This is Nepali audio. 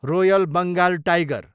royal Bengal tiger